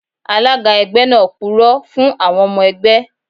Alága ẹgbẹ́ náà purọ́ fún àwọn ọmọ ẹgbẹ́